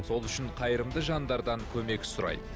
сол үшін қайырымды жандардан көмек сұрайды